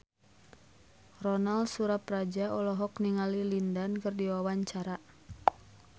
Ronal Surapradja olohok ningali Lin Dan keur diwawancara